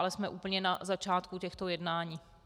Ale jsme úplně na začátku těchto jednání.